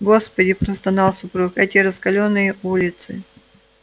господи простонал супруг эти раскалённые улицы